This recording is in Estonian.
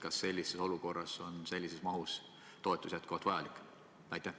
Kas sellises olukorras on sellises mahus toetus jätkuvalt vajalik?